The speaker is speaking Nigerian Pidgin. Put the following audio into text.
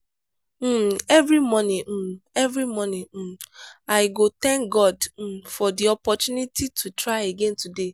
um every morning um every morning um i go thank god um for di opportunity to try again today.